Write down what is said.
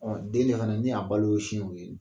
den fana ne a balo ye o siw ye.